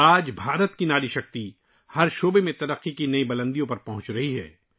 آج بھارت کی خواتین کی قوت ناری شکتی ہر شعبے میں ترقی کی نئی بلندیوں کو چھو رہی ہے